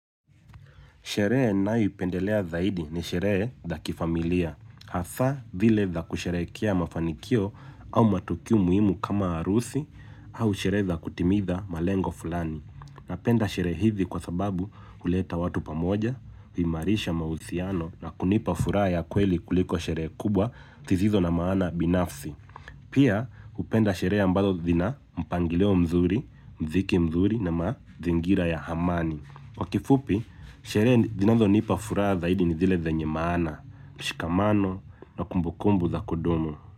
Sherehe ninayoipendelea zaidi ni sherehe za kifamilia hasa zile za kusherehekea mafanikio au matukio muhimu kama harusi au sherehe za kutimiza malengo fulani napenda sherehe hizi kwa sababu huleta watu pamoja, huimarisha mahusiano na kunipa furaha ya kweli kuliko sherehe kubwa sizizo na maana binafsi. Pia hupenda sherehe ambazo zina mpangilio mzuri, muziki mzuri na mazingira ya amani. Kwa kifupi, sherehe sinazo nipa furaha zaidi ni zile zenye maana, mshikamano na kumbukumbu za kudumu.